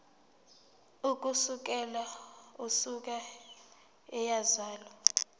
ukusukela usuku eyazalwa